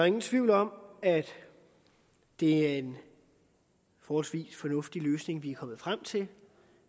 ingen tvivl om at det er en forholdsvis fornuftig løsning vi er kommet frem til